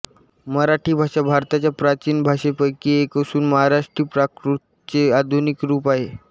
मराठी भाषा भारताच्या प्राचीन भाषांपैकी एक असून महाराष्ट्री प्राकृतचे आधुनिक रूप आहे